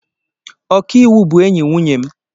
Ọkàiwu bụ enyi nwunye m.